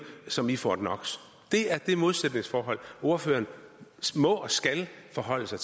som i fort knox det er det modsætningsforhold ordføreren må og skal forholde sig